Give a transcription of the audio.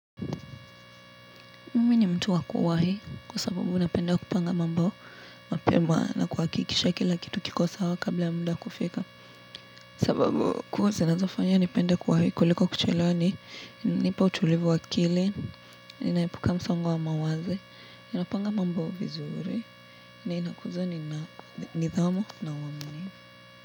Mimi ni mtu wa kuwahi kwa sababu napenda kupanga mambo mapema na kuhakikisha kila kitu kiko sawa kabla ya muda kufika. Sababu kuu zinazofanya nipende kuwahi kuliko kuchelawa ni hunipa utulivu wa akili, ninaepuka msongo wa mawazo, ninapanga mambo vizuri na inakuza nidhamu na uaminifu.